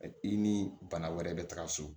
I ni bana wɛrɛ bɛ taga so